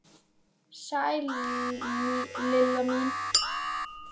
Sæl Lilla mín!